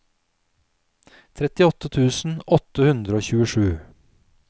trettiåtte tusen åtte hundre og tjuesju